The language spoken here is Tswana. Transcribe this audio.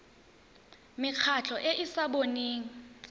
mekgatlho e e sa boneng